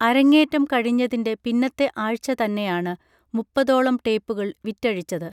അരങ്ങേറ്റം കഴിഞ്ഞതിൻറെ പിന്നത്തെ ആഴ്ച്ച തന്നെയാണ് മുപ്പതോളം ടേപ്പുകൾ വിറ്റഴിച്ചത്